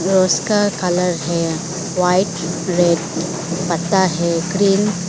उसका कलर है white red पत्ता है ग्रीन --